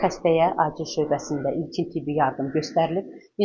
Xəstəyə açıq şöbəsində ilkin tibbi yardım göstərilib.